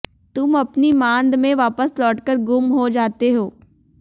तुम अपनी मांद में वापस लौटकर गुम हो जाते हो